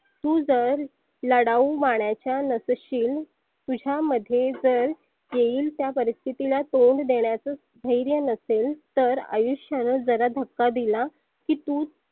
तु जर लढवु मानाचा नसशील तुझ्यामध्ये जर येईल त्या परिस्थितीला तोंड देण्याच धैर्य नसेल तर आयुष्याने जरा धक्का दिला की तु